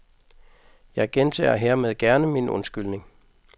Jeg gentager hermed gerne min undskyldning.